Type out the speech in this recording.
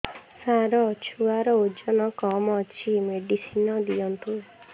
ସାର ଛୁଆର ଓଜନ କମ ଅଛି ମେଡିସିନ ଦିଅନ୍ତୁ